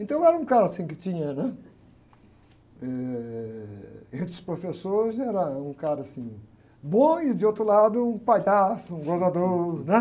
Então, eu era um cara que tinha, né? Ãh, entre os professores, era um cara, assim, bom e, de outro lado, um palhaço, um gozador, né?